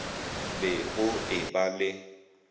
be go e ba le